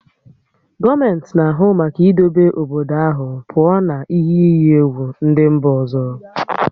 Gọọmenti na-ahụ maka idobe obodo ahụ pụọ na ihe iyi egwu ndị obodo ọzọ